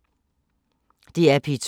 DR P2